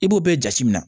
I b'o bɛɛ jate minɛ